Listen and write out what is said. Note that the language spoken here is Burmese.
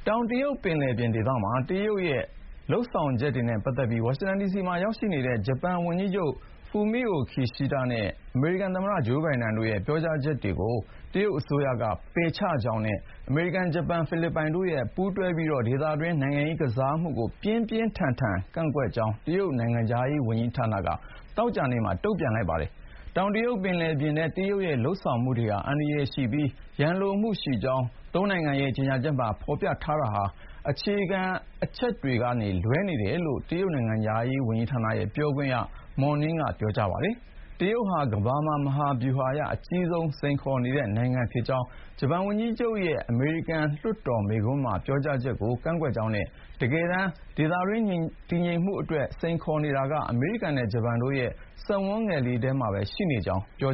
ောင်တရုတ်ပင်လယ်ပြင်ဒေသမှာ တရုတ်ရဲ့ လုပ်ဆောင်ချက်တွေနဲ့ ပတ်သက်ပြီး ဝါရှင်တန်ဒီစီမှာ ရောက်နေတဲ့ ဂျပန်ဝန်ကြီးချုပ် Fumio Kishida နဲ့ အမေရိကန်သမ္မတ ဂျိုးဘိုင်ဒန်တို့ရဲ့ ပြောကြားချက်ကို တရုတ်အစိုးရက ပယ်ချကြောင်းနဲ့ အမေရိကန်၊ ဂျပန်နဲ့ ဖိလစ်ပိုင်တို့ ပူးတွဲပြီး ဒေသတွင်း နိုင်ငံရေးကစားမှုကို ပြင်းပြင်းထန်ထန် ကန့်ကွက်ကြောင်း တရုတ်နိုင်ငံခြားရေးဝန်ကြီးဌာနက သောကြာနေ့မှာ ပြောပါတယ်။ တောင်တရုတ်ပင်လယ်ပြင်ထဲ တရုတ်ရဲ့ လုပ်ဆောင်မှုတွေဟာ အန္တရာယ်ရှိပြီး ရန်လိုမှုရှိကြောင်း ၃ နိုင်ငံ ရဲ့ ကြေညာချက်မှာ ဖေါ်ပြထားတာဟာ အခြေခံ အချက်တွေကနေ လွဲနေတယ်လို့ တရုတ်နိုင်ငံခြားရေးဌာန ပြောခွင့်ရ Mao Ning က ပြောပါတယ်။ တရုတ်ဟာ ကမ္ဘာမှာ မဟာဗျူဟာအရ အကြီးဆုံးစိန်ခေါ်နေတဲ့ နိုင်ငံဖြစ်ကြောင်း ဂျပန်ဝန်ကြီးချုပ်ရဲ့ အမေရိကန် လွှတ်တော်မိန့်ခွန်းပါ ပြောကြားချက်ကို ကန့်ကွက်ကြောင်းနဲ့ တကယ်တမ်း ဒေသတွင်း တည်ငြိမ်မှုအတွက် စိန်ခေါ်နေတာက အမေရိကန်နဲ့ ဂျပန်တို့ရဲ့ စက်ဝန်းငယ်လေးထဲမှာပဲ ရှိနေကြောင်းလည်း ပြော